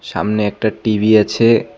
সামনে একটা টি_ভি আছে।